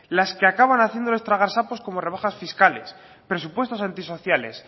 las que acaban haciéndoles tragar sapos como rebajas fiscales presupuestos antisociales